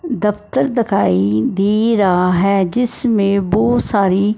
दफ्तर दखाई दे रहा है जिसमें बहोत सारी--